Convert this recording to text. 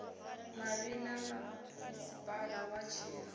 mavhi ḓa masipala wa tshiṱiriki